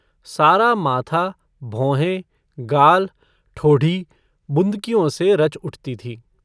सारा माथा, भौहें, गाल, ठोढ़ी बुँदकियों से रच उठती थीं।